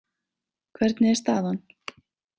Hvernig er staðan?